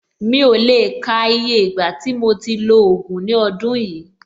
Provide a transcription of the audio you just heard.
Mi ò lè le ka iye ìgbà tí mo ti lo ògùn ní ọdún yìí.